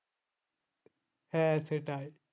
হ্যাঁ সেটাই